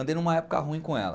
Andei numa época ruim com ela.